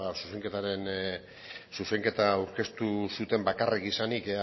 zuzenketa aurkeztu zuten bakarrik izanik